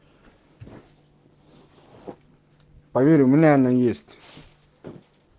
поверь у меня она есть